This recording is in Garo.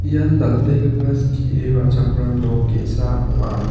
ian dal·begipa skie ra·chakram nok ge·sa ong·a.